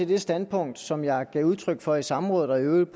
det standpunkt som jeg gav udtryk for i samrådet og i øvrigt